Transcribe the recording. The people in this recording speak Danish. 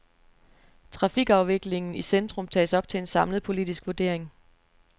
Trafikafviklingen i centrum tages op til en samlet politisk vurdering.